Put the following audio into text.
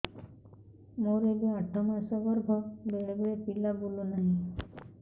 ମୋର ଏବେ ଆଠ ମାସ ଗର୍ଭ ବେଳେ ବେଳେ ପିଲା ବୁଲୁ ନାହିଁ